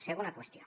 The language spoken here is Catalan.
segona qüestió